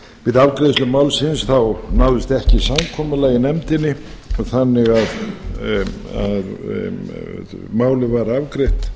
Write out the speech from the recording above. við afgreiðslu málsins náðist ekki samkomulag í nefndinni þannig að málið var afgreitt